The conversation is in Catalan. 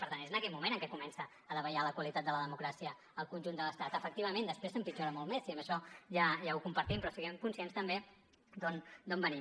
per tant és en aquell moment en què comença a davallar la qualitat de la democràcia al conjunt de l’estat efectivament després empitjora molt més i això ja ho compartim però siguem conscients també d’on venim